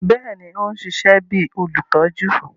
Bẹẹni, o n ṣiṣẹ bi olutọju